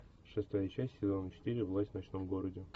шестая часть сезона четыре власть в ночном городе